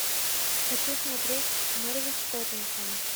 хочу смотреть норвич тоттенхэм